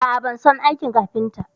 A a, ban son aikin kafinta.